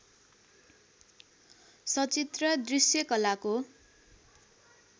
सचित्र दृष्यकलाको